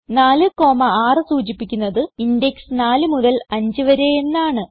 4 6 സൂചിപ്പിക്കുന്നത് ഇൻഡെക്സ് 4 മുതൽ 5 വരെ എന്നാണ്